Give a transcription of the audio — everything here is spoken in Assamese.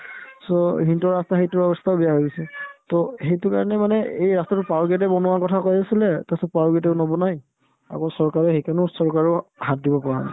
so, সিহঁতৰ ৰাস্তা সেইটোও ৰাস্তাও বেয়া হৈ গৈছে to সেইটোৰ কাৰণে মানে এই ৰাস্তাতো power gate য়ে বনোৱাৰ কথা কৈ আছিলে তাৰপিছত power gate য়েও নবনাই আগৰ চৰকাৰে সেইকাৰণে চৰকাৰেও হাত দিব পৰা নাই